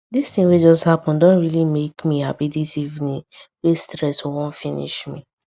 this thing wey just happen don really make me happy this evening wey stress wan finish me